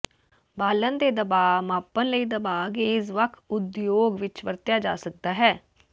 ਬਾਲਣ ਦੇ ਦਬਾਅ ਮਾਪਣ ਲਈ ਦਬਾਅ ਗੇਜ ਵੱਖ ਉਦਯੋਗ ਵਿੱਚ ਵਰਤਿਆ ਜਾ ਸਕਦਾ ਹੈ